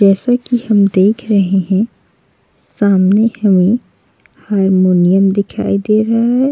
जैसे कि हम देख रहे है सामने हमें हारमोनियम दिखाई दे रहा हैं।